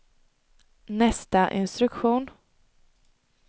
nästa instruktion